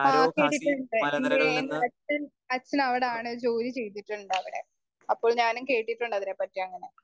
Speaker 1 ആഹ് എൻ്റെ അച്ഛൻ അച്ഛവിടാണ് ജോലിചെയ്തിട്ടുണ്ടവിടെ. അപ്പൊ ഞാനും കേട്ടിട്ടുണ്ട് അതിനെ പറ്റി അങ്ങനെ.